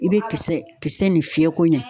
I be kisɛ kisɛ nin fiyɛ ko ɲa